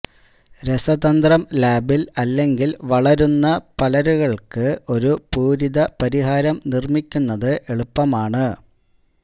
രസതന്ത്രം ലാബിൽ അല്ലെങ്കിൽ വളരുന്ന പരലുകൾക്ക് ഒരു പൂരിത പരിഹാരം നിർമ്മിക്കുന്നത് എളുപ്പമാണ്